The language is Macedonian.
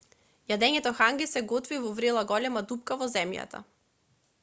јадењето ханги се готви во врела голема дупка во земјата